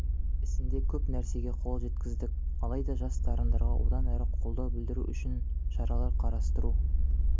ісінде көп нәрсеге қол жеткіздік алайда жас дарындарға одан әрі қолдау білдіру үшін шаралар қарастыру